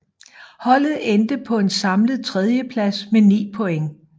Holdet endte på en samlet tredjeplads med 9 point